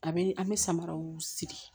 A bɛ an bɛ samaraw sigi